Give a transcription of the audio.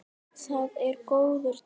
Það er góður tími.